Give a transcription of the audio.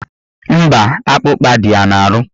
Mba, akpụkpa dị ya n'ahụ